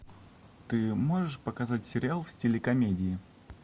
ты можешь показать сериал в стиле комедии